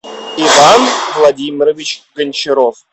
иван владимирович гончаров